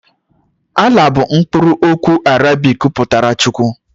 Allah bụ mkpụrụ okwu Arabik pụtara Chukwu.